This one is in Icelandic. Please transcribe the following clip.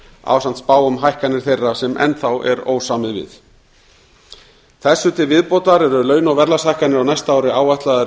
ásamt spá um hækkanir þeirra sem enn þá er ósamið við þessu til viðbótar eru launa og verðlagshækkanir á næsta ári áætlaðar